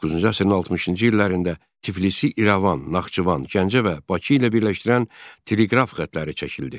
19-cu əsrin 60-cı illərində Tiflis, İrəvan, Naxçıvan, Gəncə və Bakı ilə birləşdirən teleqraf xətləri çəkildi.